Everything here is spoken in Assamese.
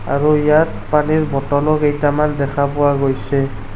আৰু ইয়াত পানীৰ ব'টল ও কেইটামান দেখা পোৱা গৈছে।